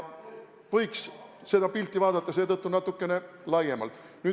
Võiks seda pilti vaadata seetõttu natukene laiemalt.